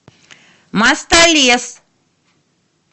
мостолес